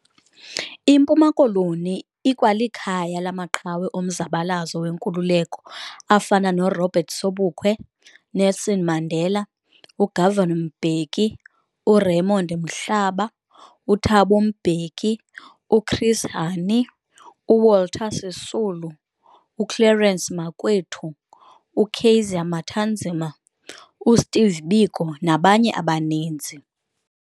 IMpuma Koloni ikwalikhaya lamaqhawe omzabalazo wenkululeko afana no Robert Sobukwe, uNelson Mandela, uGovan Mbeki, uRaymond Mhlaba, uThabo Mbeki, uChris Hani, uWalter Sisulu, uClerence Makwethu, uKaiser Matanzima, uSteve Biko nabanye abaninzi.